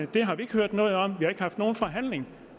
det har vi ikke hørt noget om har ikke haft nogen forhandling